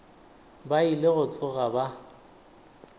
ba ile go tsoga ba